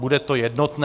Bude to jednotné.